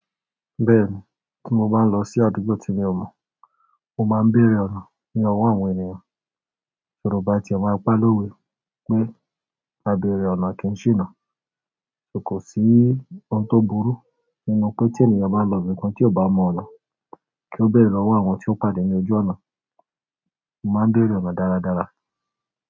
Bẹ́ẹ̀ni, tí mo bá ń lọ sí àdúgbò tí mi ò mọ̀, mo máa ń béèrè ọ̀nà ní ọwọ́ àwọn ènìyàn. Yorùbá ti e maa n pa lówe pé, "àbéèrè ọ̀nà kì í ṣìnà," so kò sí ohun tó burú nínú pé tí ènìyàn bá lọ ibìkan tí ò bá mọ ọ̀nà, kí ó béèrè lọ́wọ́ àwọn tí ó pàdé ní ojú ọ̀nà? Mo máa ń béèrè ọ̀nà dáradára.